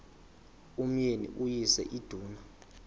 umyeni uyise iduna